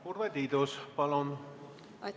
Urve Tiidus, palun!